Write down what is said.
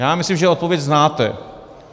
Já myslím, že odpověď znáte.